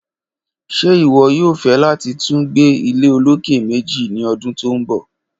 Ṣe iwọ yoo fẹ lati tun gbe ilé oloke meji ni ọdun to nbọ?